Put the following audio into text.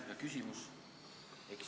Ja küsimus?